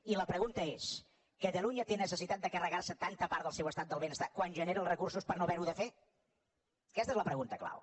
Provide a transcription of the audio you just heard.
i la pregunta és catalunya té necessitat de carregar se tanta part del seu estat del benestar quan genera els recursos per no haver ho de fer aquesta és la pregunta clau